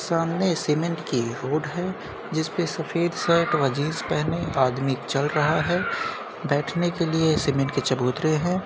सामने सिमेंट की रोड है जिस पे सफेद शर्ट व जिन्स पहने आदमी चल रहा है। बैठने के लिए सिमेंट के चबुतरे हैं।